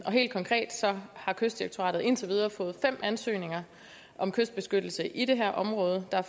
helt konkret har kystdirektoratet indtil videre fået fem ansøgninger om kystbeskyttelse i det her område der